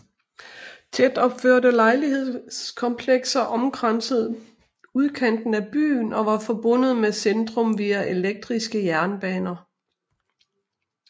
Tætopførte lejlighedskomplekser omkransede udkanten af byen og var forbundet med centrum via elektriske jernbaner